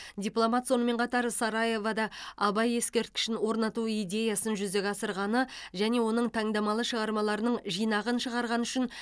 дипломат сонымен қатар сараевода абай ескерткішін орнату идеясын жүзеге асырғаны және оның таңдамалы шығармаларының жинағын шығарғаны үшін